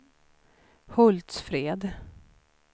Hultsfred